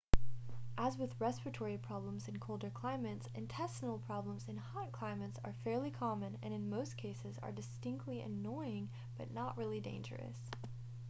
as with respiratory problems in colder climates intestinal problems in hot climates are fairly common and in most cases are distinctly annoying but not really dangerous